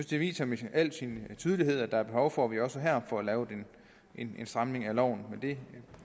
det viser med al tydelighed at der er behov for vi også her får lavet en stramning af loven men det